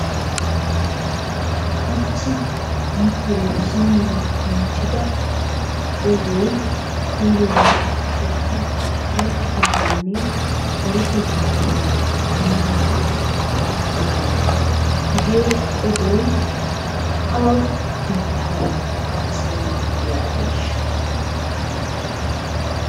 Hachchi nu telebizhiniyan kantidda odoy koyiroppe keehin yashshiyaganne deretetta bollan hanidabaa haasayiyaaga hegee odoy awa bbittaabaa haasayiiddi diyaabeeshsha?